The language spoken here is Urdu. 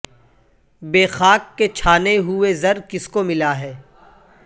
بے خاک کے چھانے ہوئے زر کس کو ملا ہے